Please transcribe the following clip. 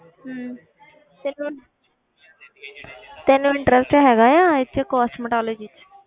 ਹਮ ਤੈਨੂੰ ਤੈਨੂੰ interest ਹੈਗਾ ਆ ਇਹ 'ਚ cosmetology 'ਚ